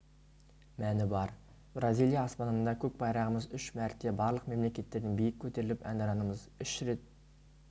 мәні бар бразилия аспанында көк байрағымыз үш мәрте барлық мемлекеттерден биік көтеріліп әнұранымыз үш рет